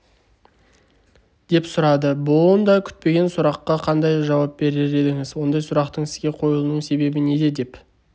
деп сұрады бұндай күтпеген сұраққа қандай жауап берер едіңіз ондай сұрақтың сізге қойылуының себебі неде деп